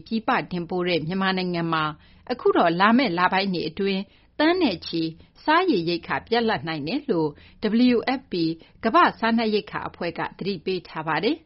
ပြည်ပ တင်ပို့လေ့ ရှိတဲ့ မြန်မာနိုင်ငံမှာ လာမယ့် လပိုင်းတွေ အတွင်း လူပေါင်း သန်းချီ စားနပ်ရိက္ခာ ပြတ်လပ်နိုင်ကြောင်း ကမ္ဘာ့စားနပ်ရိက္ခာ အဖွဲ့ WFP ကလည်း သတိပေးထားပါတယ်